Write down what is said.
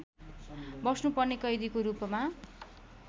बस्नुपर्ने कैदीको रूपमा